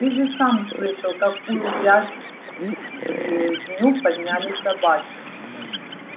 ты же сам слышал какую грызню подняли собаки